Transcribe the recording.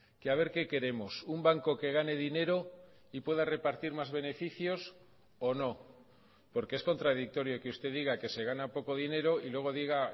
que a ver qué queremos un banco que gane dinero y pueda repartir más beneficios o no porque es contradictorio que usted diga que se gana poco dinero y luego diga